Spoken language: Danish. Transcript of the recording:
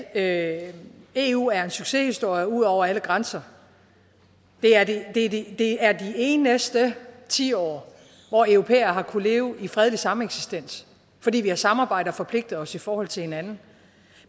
at eu er en succeshistorie ud over alle grænser det er de eneste tiår hvor europæere har kunnet leve i fredelig sameksistens fordi vi har samarbejdet og forpligtet os i forhold til hinanden